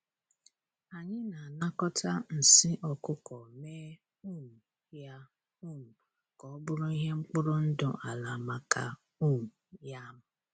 Anyị na-anakọta nsị ọkụkọ mee um ya um ka ọ bụrụ ihe mkpụrụ ndụ ala maka um yam.